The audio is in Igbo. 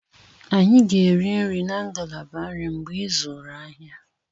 Anyị ga-eri nri na ngalaba nri mgbe ịzụrụ ahịa.